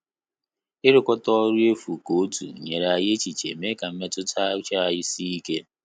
Irukata ọrụ efu ka otu nyere anyị echiche mee ka mmetụta uche anyị sie ike